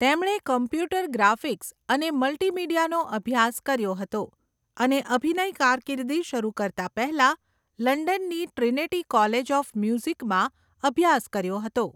તેમણે computer graphics અને મલ્ટિમીડિયાનો અભ્યાસ કર્યો હતો અને અભિનય કારકિર્દી શરૂ કરતા પહેલા લંડનની ટ્રિનિટી કોલેજ ઓફ મ્યુઝિકમાં અભ્યાસ કર્યો હતો.